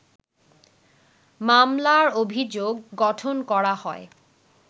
মামলার অভিযোগ গঠন করা হয়